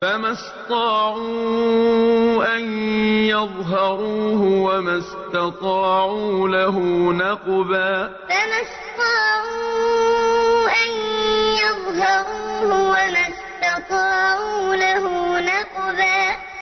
فَمَا اسْطَاعُوا أَن يَظْهَرُوهُ وَمَا اسْتَطَاعُوا لَهُ نَقْبًا فَمَا اسْطَاعُوا أَن يَظْهَرُوهُ وَمَا اسْتَطَاعُوا لَهُ نَقْبًا